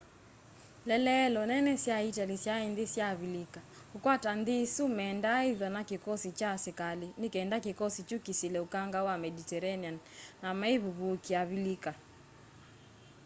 ieleelo nene sya itali syai nthi sya avilika. kukwata nthi isu mendaa ithwa na kikosikya kya asikali nikenda kikosi kyu kisile ukanga wa mediterranean na meivivúkia avilika